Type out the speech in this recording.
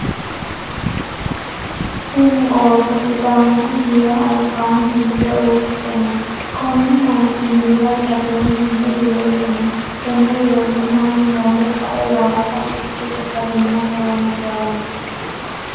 Tinni ooso sidaanchu minnira albaanni hige uurite no. Konni minnira gateenni hige weese no. Tenne weese mannu Hoge kae waasa fushe sagalimate horoonsirano.